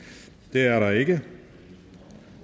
det er der ikke